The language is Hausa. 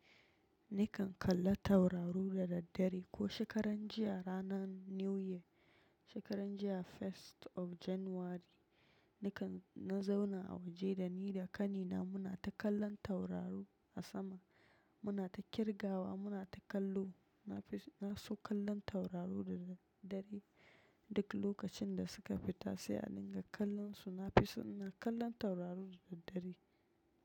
Nikan kalla tauraru da daddare ko shekaran jiya ranan new year, shekaran jiya first of January, nikan na zauna a waje da ni da ƙani na muna ta kallon tauraru a sama. Muna ta kirgawa muna ta kallo. Na fi na so kallon taurari da daddare. Duk lokacin da suka fita sai a dinga kallonsu. Na fi so ina kallon tauraru da daddare.